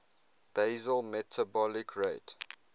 basal metabolic rate